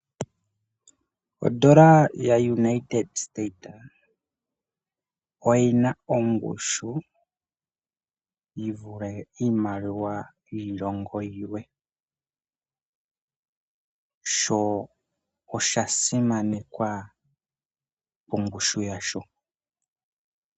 Ondola yaaUnited state oyina ongushu yiivule yiilongo yimwe sho osha sinanekwa molwa ongushu yasho.